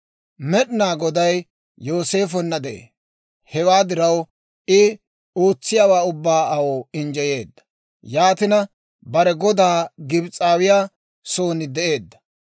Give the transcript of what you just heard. Med'inaa Goday Yooseefonna de'ee; hewaa diraw, I ootsiyaawaa ubbaa aw injjeyeedda; yaatina bare godaa, Gibs'aawiyaa soon de'eedda.